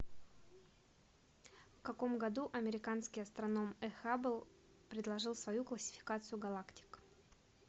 в каком году американский астроном э хаббл предложил свою классификацию галактик